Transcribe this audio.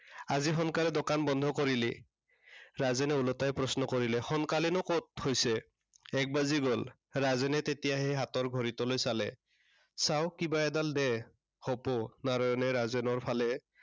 আজি সোনকালে দোকান বন্ধ কৰিলি? ৰাজেনে ওলটাই প্ৰশ্ন কৰিলে। সোনকালেনো কত হৈছে, এক বাজি গল। ৰাজেনে তেতিয়াহে হাতৰ ঘড়ীটোলৈ চালে। চাও কিবা এডাল দে, হুপো।